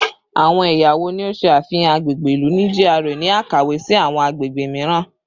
Awọn ẹya wo ni o ṣe afihan agbegbe ilu ni GRA ni akawe si awọn agbegbe miiran?